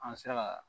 An sera ka